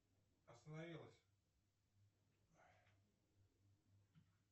остановилась